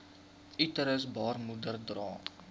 uterus baarmoeder dra